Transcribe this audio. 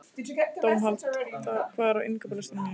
Dómald, hvað er á innkaupalistanum mínum?